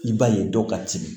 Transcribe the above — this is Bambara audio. I b'a ye dɔw ka timi